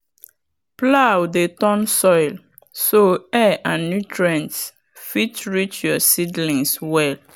plow dey turn soil so air and nutrients fit reach your seedlings well.